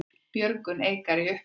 Björgun Eikar í uppnámi